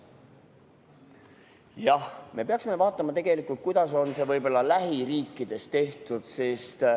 Jah, me peaksime vaatama tegelikult, kuidas on see lähiriikides tehtud.